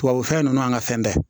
Tubabu fɛn nunnu n'an ka fɛn bɛɛ